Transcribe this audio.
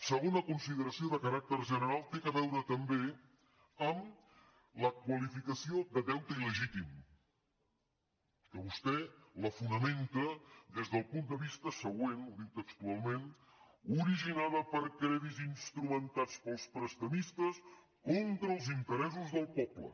segona consideració de caràcter general té a veure també amb la qualificació de deute il·legítim que vostè la fonamenta des del punt de vista següent ho diu textualment originada per crèdits instrumentats pels prestadors contra els interessos del poble